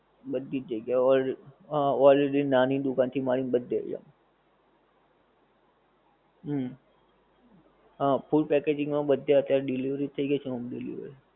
બધી જ જગ્યા એ. ઓર હા ઓલ એટલે નાની દુકાન થી માંડી ને બધેય. હુંમ. હં. food packaging માં બધે અત્યારે delivery જ થઈ ગઈ છે home delivery.